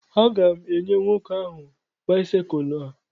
A ga m enyè nwoke áhù báịsikụlu a